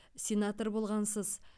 сенатор болғансыз